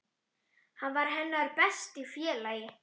Hann var hennar besti félagi.